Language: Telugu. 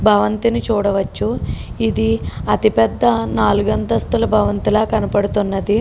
భవంతిని చూడవచ్చును ఇది అతి పెద్ద భవంతుల ఉన్నది --